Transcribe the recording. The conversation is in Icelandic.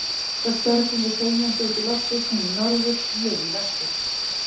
Svo störðum við þegjandi út í loftið, hún í norður, ég í vestur.